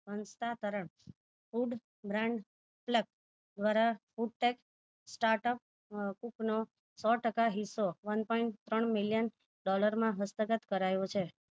હસ્તાંતરણ food brand plak દ્વારા put take start up ઉપનો સો ટકા હિસ્સો one point ત્રણ million ડોલરમાં હસ્તગત કરાયો છે